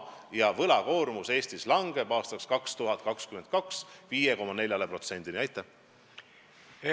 Aastaks 2022 langeb Eestis võlakoormus 5,4%-ni SKT-st.